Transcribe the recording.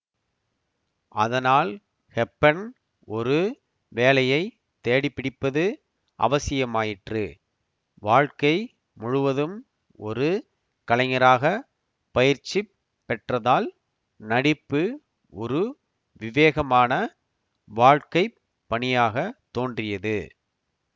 அதனால் ஹெப்பர்ன் ஒரு வேலையை தேடிபிடிப்பது அவசியமாயிற்று வாழ்க்கை முழுவதும் ஒரு கலைஞராக பயிற்சி பெற்றதால் நடிப்பு ஒரு விவேகமான வாழ்க்கை பணியாக தோன்றியது